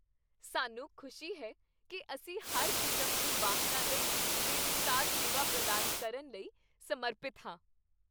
ਸਾਨੂੰ ਖੁਸ਼ੀ ਹੈ ਕੀ ਅਸੀਂ ਹਰ ਕਿਸਮ ਦੇ ਵਾਹਨਾਂ ਲਈ ਬੇਮਿਸਾਲ ਸੇਵਾ ਪ੍ਰਦਾਨ ਕਰਨ ਲਈ ਸਮਰਪਿਤ ਹਾਂ।